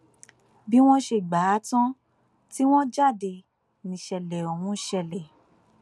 bí wọn ṣe gbà á tán tí wọn jáde níṣẹlẹ ọhún ṣẹlẹ